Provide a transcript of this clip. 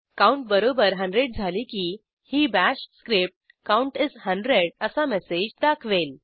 count बरोबर 100 झाले की ही बाश स्क्रिप्ट काउंट इस 100 असा मेसेज दाखवेल